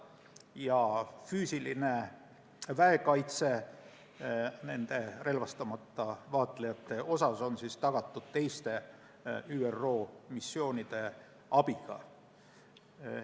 Ja füüsiline väekaitse nende relvastamata vaatlejate seas on tagatud teiste ÜRO missioonide abiga.